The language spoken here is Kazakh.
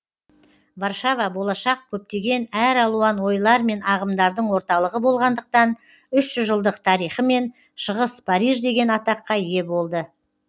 варшава болашақ көптеген әр алуан ойлар мен ағымдардың орталығы болғандықтан үш жүз жылдық тарихымен шығыс париж деген атаққа ие болды